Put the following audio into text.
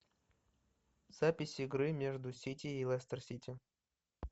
запись игры между сити и лестер сити